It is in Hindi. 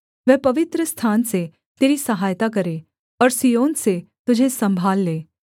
वह पवित्रस्थान से तेरी सहायता करे और सिय्योन से तुझे सम्भाल ले